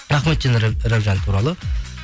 рахмет динара рабжан туралы